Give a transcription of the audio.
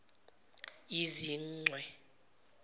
yizichwe